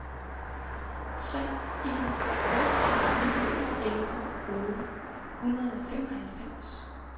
tre en fem fire elleve otte hundrede og femoghalvfems